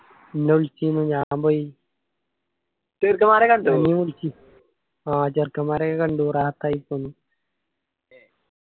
ഇന്ന വിളിച്ചിയ്ന് ഞാൻ പോയി ആ ചെറുക്കൻമാരെ ഒക്കെ കണ്ടു. റാഹത്തായി പോയി